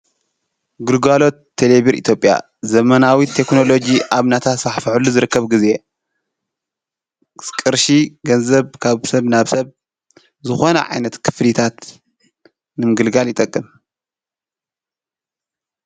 ግጓሎት ተሌብር ኢቲጴያ ዘመናዊት ተክኖሎጅ ኣብናታ ሳሕፍዐሉ ዝርከብ ጊዜ ቅርሺ ገንዘብ ካብ ሰብ ናብ ሰብ ዝኾነ ዓይነት ክፍሊታት ንምግልጋል ይጠቅም።